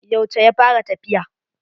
Yauce ya fara tafiya.